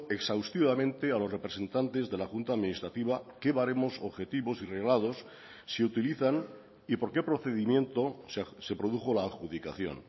exhaustivamente a los representantes de la junta administrativa qué baremos objetivos y reglados se utilizan y por qué procedimiento se produjo la adjudicación